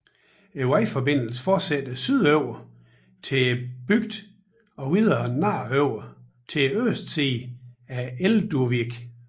Vejforbindelsen fortsætter sydover til bygden og videre nordover på østsiden til Elduvík